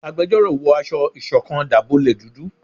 Àgbẹjọró wọ aṣọ ìṣọ̀kan dábọlẹ dúdú